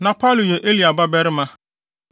Na Palu yɛ Eliab babarima,